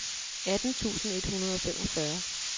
atten tusind et hundrede og femogfyrre